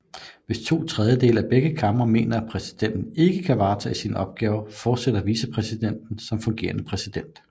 Hvis to tredjedele af begge kamre mener at præsidenten ikke kan varetage sine opgaver fortsætter vicepræsidenten som fungerende præsident